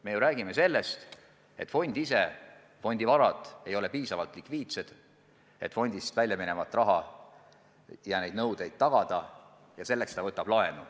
Me räägime sellest, et fondivarad ei ole piisavalt likviidsed ja et fond võtab sambast lahkujate nõuete täitmiseks laenu.